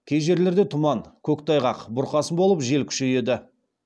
кей жерлерде тұман көктайғақ бұрқасын болып жел күшейеді